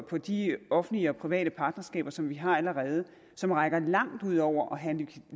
på de offentlige og private partnerskaber som vi har allerede og som rækker langt ud over at have en